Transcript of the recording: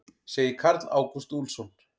Segir Karl Ágúst Úlfsson.